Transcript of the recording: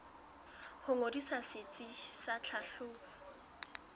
ho ngodisa setsi sa tlhahlobo